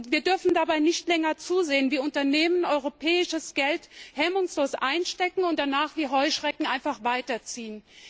Wir dürfen nicht länger dabei zusehen, wie Unternehmen europäisches Geld hemmungslos einstecken und danach wie Heuschrecken einfach weiterziehen.